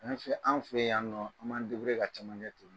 An fɛ an fɛ yan nɔ an b'an ka cacɛ to